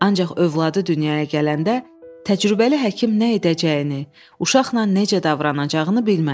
Ancaq övladı dünyaya gələndə təcrübəli həkim nə edəcəyini, uşaqla necə davranacağını bilmədi.